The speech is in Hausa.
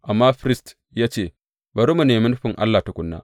Amma firist ya ce, Bari mu nemi nufin Allah tukuna.